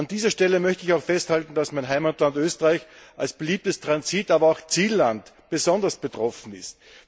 An dieser Stelle möchte ich auch festhalten, dass mein Heimatland Österreich als beliebtes Transit aber auch Zielland davon besonders betroffen ist.